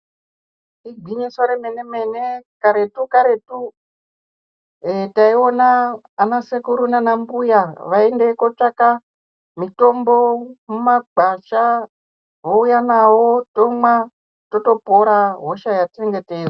Igwinyiso remene mene karetu karetu taiona ana sekuru nans mbuya veiende kotsvaka mitombo mumugwasha vouya nawo tomwa totopora hosha yatinenge teizwa.